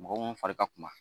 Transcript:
Mɔgɔ minnu fari ka kunba